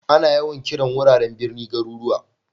Ana yawan kiran wuraren birni garuruwa.